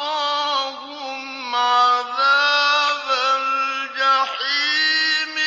وَوَقَاهُمْ عَذَابَ الْجَحِيمِ